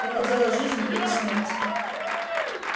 это дело жизни или смерти